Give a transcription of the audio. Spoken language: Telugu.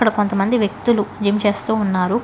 కొంతమంది వ్యక్తులు జిమ్ చేస్తూ ఉన్నారు.